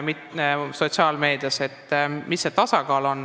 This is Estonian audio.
Kus see tasakaal siis on?